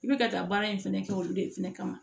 I bɛ ka taa baara in fɛnɛ kɛ olu de fana kama